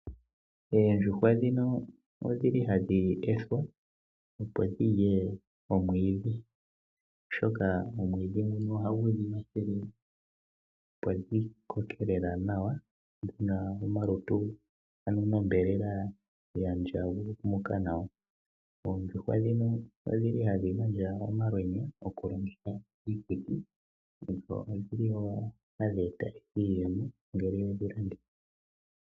Oondjuhwa ndhino odhi li hadhi ethwa, opo dhi lye omwiidhi, oshoka omwiidhi nguno ohagu dhi kwathele opo dhi koke lela nawa dhi na omalutu nosho wo onyama ya ndjangumuka nawa. Oondjuhwa dhino ohadhi gandja omalwenya gokulongitha kiikuti, dho ohadhi gandja iiyemo ngele we dhi landitha.